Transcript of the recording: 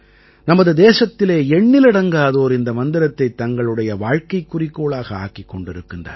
நமது தேசத்திலே எண்ணிலடங்காதோர் இந்த மந்திரத்தைத் தங்களுடைய வாழ்க்கைக் குறிக்கோளாக ஆக்கிக் கொண்டிருக்கிறார்கள்